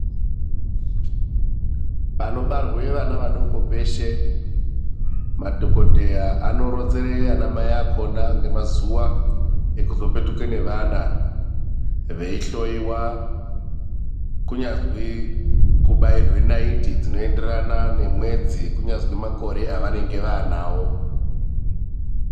Panobarwe vana vadoko peshe, madhogodheya anoronzere anamai akhona ngemazuwa ekuzopetuka nevana veihloiwa. Kunyazwi kubairwe naiti dzinoenderana nemwedzi kunyazwi makore avanenge vaanawo.